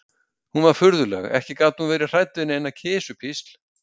Hún var furðuleg, ekki gat hún verið hrædd við eina kisupísl.